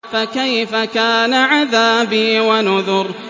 فَكَيْفَ كَانَ عَذَابِي وَنُذُرِ